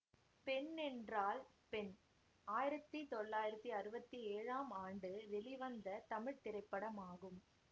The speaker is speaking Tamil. பெண் என்றால் பெண் ஆயிரத்தி தொள்ளாயிரத்தி அறுவத்தி ஏழாம் ஆண்டு வெளிவந்த தமிழ் திரைப்படமாகும்